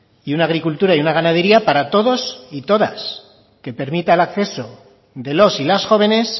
y una agricultura y una ganadería para todos y todas que permita el acceso de los y las jóvenes